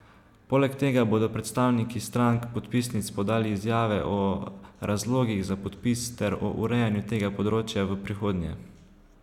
Poleg tega bodo predstavniki strank podpisnic podali izjave o razlogih za podpis ter o urejanju tega področja v prihodnje.